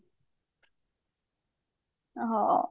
ହଁ